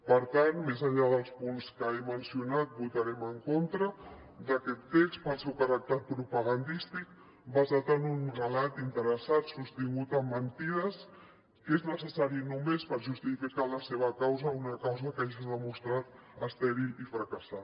per tant més enllà dels punts que he mencionat votarem en contra d’aquest text pel seu caràcter propagandístic basat en un relat interessat sostingut en mentides que és necessari només per justificar la seva causa una causa que ja s’ha demostrat estèril i fracassada